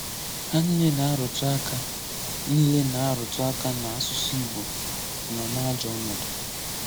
Há niile na-arùtù aka niile na-arùtù aka na asụ̀sụ́ Ìgbò nọ n’ajọ̀ ọ̀nọ̀dụ̀.